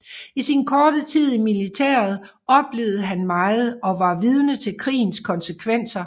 I sin korte tid i militæret oplevede han meget og var vidne til krigens konsekvenser